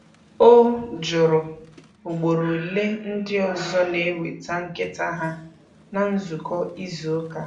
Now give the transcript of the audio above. O jụrụ ugboro ole ndị ọzọ na-eweta nkịta ha na nzukọ izu ụka.